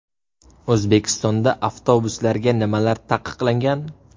O‘zbekistonda avtobuslarda nimalar taqiqlangan?.